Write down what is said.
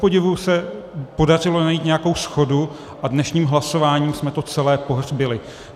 Kupodivu se podařilo najít nějakou shodu, a dnešním hlasováním jsme to celé pohřbili.